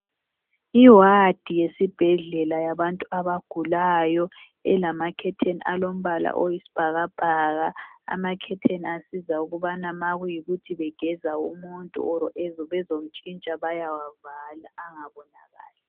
Iwadi yesibhedlela yabantu abagulayo. Ilamakhetheni alombala oyisibhakabhaka. Amakhetheni asiza ukubana makuyikuthi begeza umuntu kumbe bezomntshintsha bayawavala angabonakali.